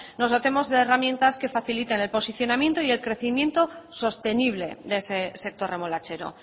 nos dotemos de herramientas que faciliten el posicionamiento y el crecimiento sostenible de ese sector remolachero